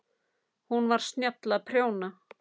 Hún var snjöll að prjóna.